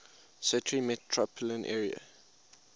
city metropolitan area